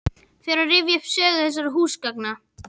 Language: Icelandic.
Fer að rifja upp sögu þessara húsgagna.